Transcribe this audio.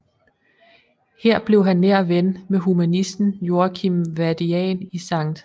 Her blev han nær ven med humanisten Joachim Vadian i St